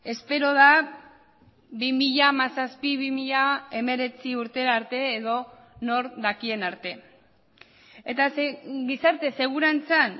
espero da bi mila hamazazpi bi mila hemeretzi urtera arte edo nork dakien arte eta gizarte segurantzan